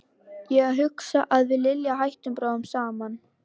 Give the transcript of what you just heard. Ég hugsa að við Lilja hættum bráðum saman.